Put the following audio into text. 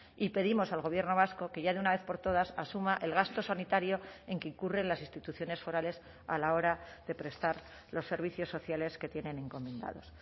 y pedimos al gobierno vasco que ya de una vez por todas asuma el gasto sanitario en que incurren las instituciones forales a la hora de prestar los servicios sociales que tienen encomendados